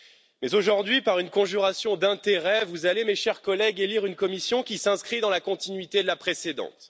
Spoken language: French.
Mais aujourd'hui, par une conjuration d'intérêts, vous allez, mes chers collègues, élire une Commission qui s'inscrit dans la continuité de la précédente.